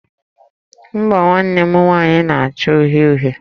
Mbọ̀ nwanne m nwanyị na-acha uhie uhie